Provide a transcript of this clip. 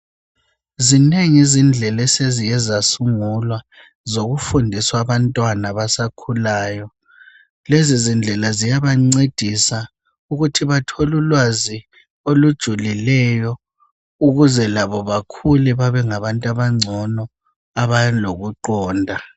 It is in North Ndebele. Zinengi izindlela sezike zasungulwa zokufundisa abantwana abakhulayo. Lezizindlela ziyabancedisa ukuthi bathole ulwazi olujulileyo ukuze labo bakhule babenganga bantu abangcono abalokuqonda.